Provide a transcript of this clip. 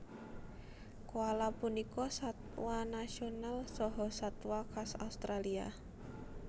Koala punika satwa nasional saha satwa khas Australia